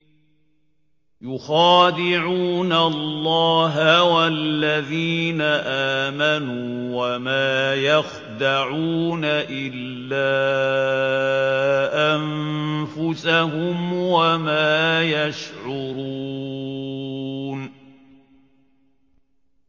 يُخَادِعُونَ اللَّهَ وَالَّذِينَ آمَنُوا وَمَا يَخْدَعُونَ إِلَّا أَنفُسَهُمْ وَمَا يَشْعُرُونَ